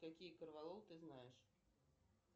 какие корвалол ты знаешь